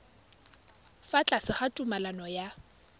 fa tlase ga tumalano ya